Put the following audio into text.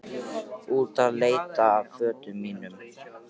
Út að leita að fötunum mínum.